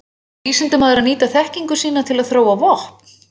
Á vísindamaður að nýta þekkingu sína til að þróa vopn?